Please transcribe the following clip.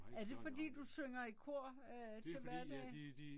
Er det fordi du synger i kor øh til hverdag?